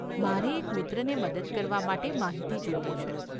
મારે એક મિત્રને મદદ કરવા માટે માહિતી જોઈએ છે.